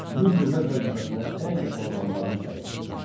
Mühüm dövlət vəzifəsinə ən yaxın adamlarını təyin etdi.